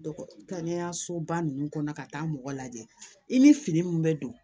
Kɛnɛyasoba ninnu kɔnɔ ka taa mɔgɔ lajɛ i ni fini min bɛ don